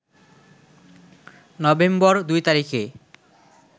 November ২ তারিখে